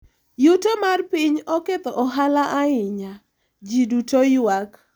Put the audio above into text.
yuto mar piny oketho ohala ahinya, ji duto ywak